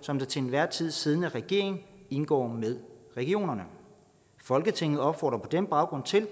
som den til enhver tid siddende regering indgår med regionerne folketinget opfordrer på den baggrund til